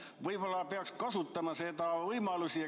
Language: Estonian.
Võib-olla peaks kasutama seda võimalust?